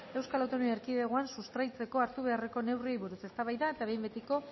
eaen sustraitzeko hartu beharreko neurriei buruz eztabaida eta behin betiko